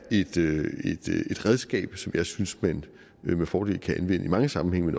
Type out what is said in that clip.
et redskab som jeg synes man med fordel i mange sammenhænge